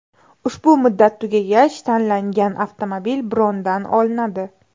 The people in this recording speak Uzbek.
Ushbu muddat tugagach tanlangan avtomobil brondan olinadi.